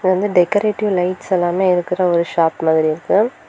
இது வந்து decorative lights எல்லாமே இருக்குற ஒரு ஷாப் மாதிரி இருக்கு.